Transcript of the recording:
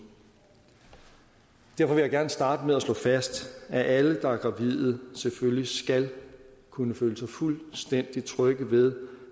derfor vil jeg gerne starte med at slå fast at alle der er gravide selvfølgelig skal kunne føle sig fuldstændig trygge ved